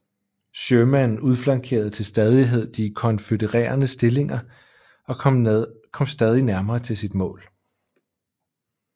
Sherman udflankerede til stadighed de konfødererede stillinger og kom stadig nærmere til sit mål